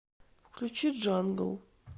включи джангл